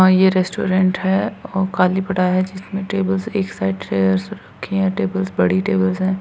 हा ये रेस्टोरेंट है ओ खाली पड़ा है जिसमे टेबल एक साइड रखी है टेबल्स बड़ी टेबल्स है।